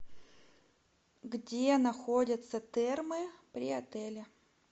где находятся термы при отеле